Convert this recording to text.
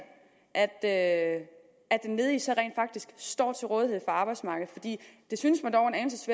at den ledige så rent faktisk står til rådighed for arbejdsmarkedet det synes mig dog